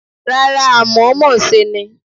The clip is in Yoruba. Rárá, àmọ̀ọ́mọ̀ ṣe ni.